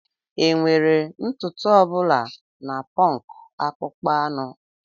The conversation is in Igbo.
Enwere ntutu ọ bụla na punk akpụkpọ anụ.